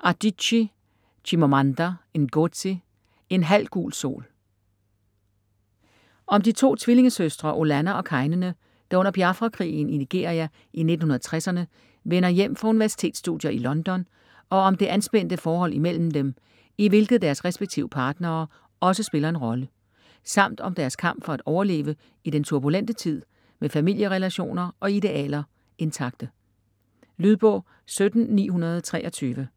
Adichie, Chimamanda Ngozi: En halv gul sol Om de to tvillingesøstre Olanna og Kainene, der under Biafra-krigen i Nigeria i 1960'erne vender hjem fra universitetsstudier i London og om det anspændte forhold imellem dem, i hvilket deres respektive partnere også spiller en rolle, samt om deres kamp for at overleve i den turbulente tid med familierelationer og idealer intakte. Lydbog 17923